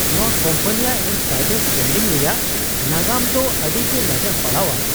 ᱱᱚᱶᱟ ᱠᱳᱢᱯᱟᱱᱤᱭᱟᱜ insider trading ᱨᱮᱭᱟᱜ ᱱᱟᱜᱟᱢ ᱫᱚ ᱟᱹᱰᱤᱜᱮ ᱞᱟᱡᱟᱯᱟᱲᱟᱣᱟᱱ ᱾